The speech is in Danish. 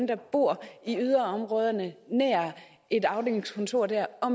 der bor i yderområderne nær et afdelingskontor der og